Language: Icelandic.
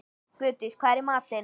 Guðdís, hvað er í matinn?